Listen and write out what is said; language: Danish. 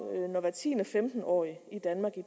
hver tiende femten årig i danmark i